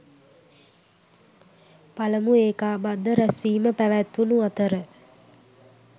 පළමු ඒකාබද්ධ රැුස්වීම පැවැත්වුණු අතර